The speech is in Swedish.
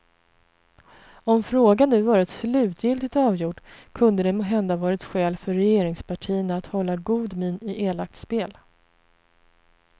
Om frågan nu varit slutligt avgjord kunde det måhända varit skäl för regeringspartierna att hålla god min i elakt spel.